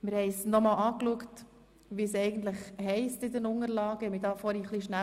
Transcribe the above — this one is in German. Wir haben nochmals nachgeschaut, was eigentlich in den Unterlagen steht.